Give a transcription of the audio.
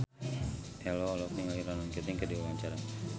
Ello olohok ningali Ronan Keating keur diwawancara